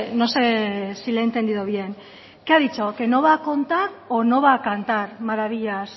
no sé si le he entendido bien qué ha dicho que no va a contar o no va a cantar maravillas